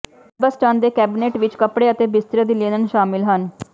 ਕਰਬਸਟਨ ਦੇ ਕੈਬਨਿਟ ਵਿਚ ਕੱਪੜੇ ਅਤੇ ਬਿਸਤਰੇ ਦੀ ਲਿਨਨ ਸ਼ਾਮਲ ਹਨ